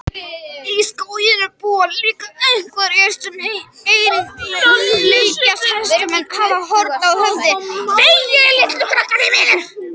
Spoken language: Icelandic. Í skóginum búa líka einhyrningar sem einnig líkjast hestum en hafa horn á höfði.